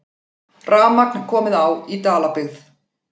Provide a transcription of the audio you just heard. Rafmagn komið á í Dalabyggð